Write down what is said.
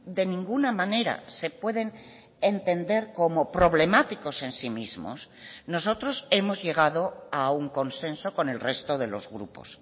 de ninguna manera se pueden entender como problemáticos en sí mismos nosotros hemos llegado a un consenso con el resto de los grupos